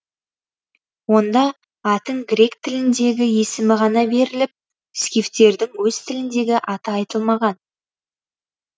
онда а тің грек тіліндегі есімі ғана беріліп скифтердің өз тіліндегі аты айтылмаған